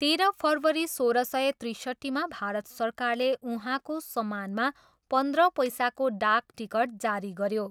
तेह्र फरवरी सोह्र सय त्रिसट्ठीमा भारत सरकारले उहाँको सम्मानमा पन्ध्र पैसाको डाक टिकट जारी गऱ्यो।